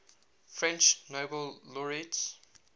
french nobel laureates